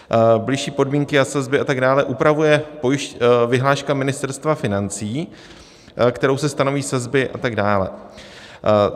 Bližší podmínky a sazby a tak dále upravuje vyhláška Ministerstva financí, kterou se stanoví sazby a tak dále.